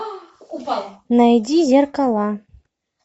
найди зеркала